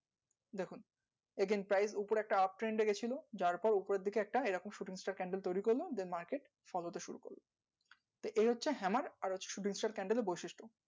দেখুন again price উপরে একটা uptrend এ গেছিলো যারপর উপরের দিকে একটা এইরকম shooting star candle তৈরী করলো then market fall হতে শুরু করলো তো এই হচ্ছে hammer আর হচ্ছে shooting star candle এর বৈশিষ্ট